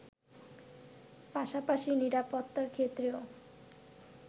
পাশাপাশি নিরাপত্তার ক্ষেত্রেও